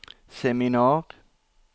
seminar